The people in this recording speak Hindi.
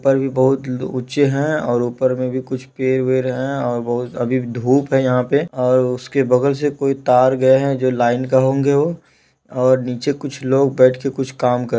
ऊपर भी बहुत ऊंचे है और ऊपर में भी कुछ पेड़ वेड है और वो अभी भी धुप है यहाँ पे और उसके बगल से कोई तार गए है जो लाईन के होंगे वो और नीचे कुछ लोग बेठ के कुछ काम कर--